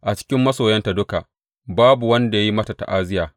A cikin masoyanta duka babu wanda ya yi mata ta’aziyya.